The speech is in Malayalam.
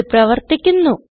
ഇത് പ്രവർത്തിക്കുന്നു